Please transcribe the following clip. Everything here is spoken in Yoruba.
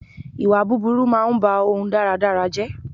Ìwà búburú máa ń bá ohun dáadáa jẹ́